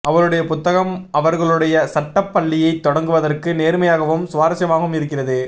அவளுடைய புத்தகம் அவர்களுடைய சட்டப் பள்ளியைத் தொடங்குவதற்கு நேர்மையாகவும் சுவாரசியமாகவும் இருக்கிறது